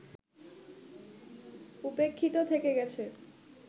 উপেক্ষিত থেকে গেছে